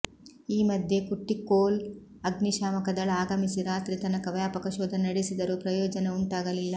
ಈ ಮಧ್ಯೆ ಕುಟ್ಟಿಕ್ಕೋಲ್ ಅಗ್ನಿಶಾಮಕದಳ ಆಗಮಿಸಿ ರಾತ್ರಿ ತನಕ ವ್ಯಾಪಕ ಶೋಧ ನಡೆಸಿದರೂ ಪ್ರಯೋಜನ ಉಂಟಾಗಲಿಲ್ಲ